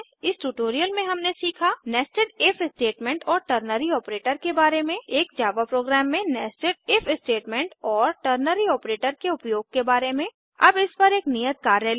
इस ट्यूटोरियल में हमने सीखा nested इफ स्टेटमेंट और टर्नरी ऑपरेटर के बारे में एक जावा प्रोग्राम में nested इफ स्टेटमेंट और टर्नरी ऑपरेटर के उपयोग के बारे में अब इस पर एक नियत कार्य लें